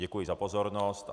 Děkuji za pozornost.